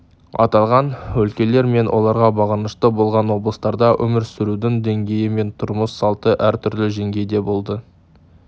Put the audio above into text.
аталған өлкелер мен оларға бағынышты болған облыстарда өмір сүрудің деңгейі мен тұрмыс салты әр түрлі жеңгейде болды